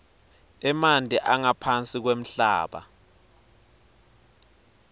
emanti angaphansi kwemhlaba